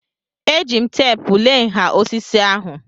Eji m teepu lee nha osisi ahụ.